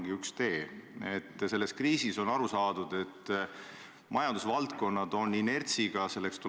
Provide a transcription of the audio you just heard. Sest tõesti, teile on ju eelmine esimees öelnud – vabandust, neid on rohkem olnud –, härra Ansip on öelnud, et tema võtab raha kohe välja, eks ju.